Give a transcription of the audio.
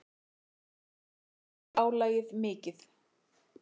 Hann segir álagið mikið.